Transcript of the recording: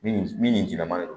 Min jinama ni